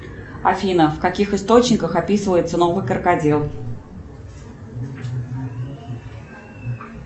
афина в каких источниках описывается новый крокодил